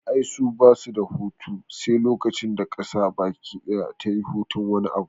Ai su basu da hutu sai lokacin da ƙasar baki daya tayi hutun wani abu